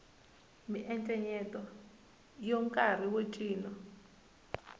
miencenyeto yo karhi ya ncino